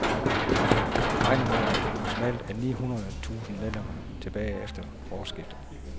Han regner med, at der maksimalt er ni hundrede tusind medlemmer tilbage efter årsskiftet.